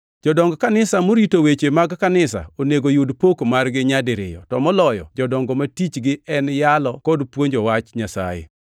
Jodong kanisa morito weche mag kanisa onego yud pok margi nyadiriyo, to moloyo jodongo ma tichgi en yalo kod puonjo wach Nyasaye.